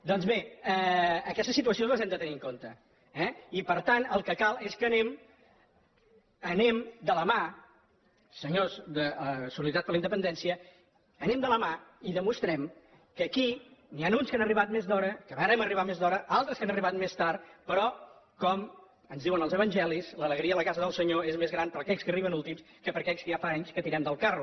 doncs bé aquestes situacions les hem de tenir en compte eh i per tant el que cal és que anem de la mà senyors de solidaritat per la independència i demostrem que aquí n’hi ha uns que han arribat més d’hora que vàrem arribar més d’hora altres que han arribat més tard però com ens diuen els evangelis l’alegria a la casa del senyor és més gran per a aquells que arriben últims que per a aquells que ja fa anys que tirem del carro